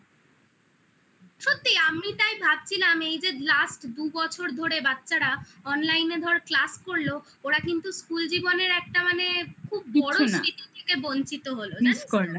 সত্যি আমি তাই ভাবছিলাম এই যে last দু বছর ধরে বাচ্চারা online এ ধর class করলো ওরা কিন্তু school জীবনের একটা মানে বঞ্চিত হলো